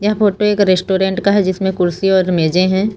Photo एक restaurant का है जिसमें कुर्सी और मेजे हैं।